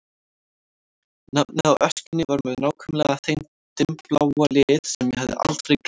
Nafnið á öskjunni var með nákvæmlega þeim dimmbláa lit sem ég hafði aldrei gleymt.